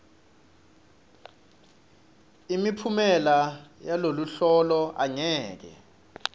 imiphumela yaloluhlolo angeke